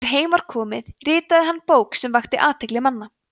þegar heim var komið ritaði hann bók sem vakti athygli manna